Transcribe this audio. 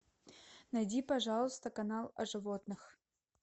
найди пожалуйста канал о животных